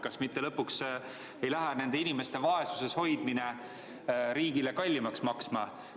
Kas mitte lõpuks ei lähe nende inimeste vaesuses hoidmine riigile kallimaks maksma?